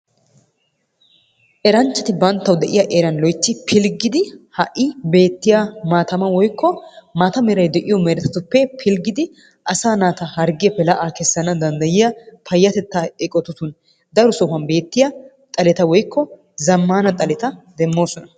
Eranchaati banttawu de'iyaa erani pilgiddi hai bettiyaa mattaa malla merayii de'o gattuppe pilgiddi la'a asa natta la'a kesanawu payattetta eqotattun de'iyaa zamanna xalettaa demosonna.